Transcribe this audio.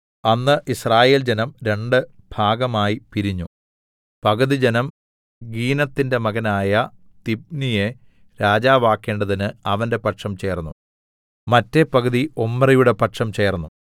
അന്ന് യിസ്രായേൽജനം രണ്ട് ഭാഗമായി പിരിഞ്ഞു പകുതി ജനം ഗീനത്തിന്റെ മകനായ തിബ്നിയെ രാജാവാക്കേണ്ടതിന് അവന്റെ പക്ഷം ചേർന്നു മറ്റെ പകുതി ഒമ്രിയുടെ പക്ഷം ചേർന്നു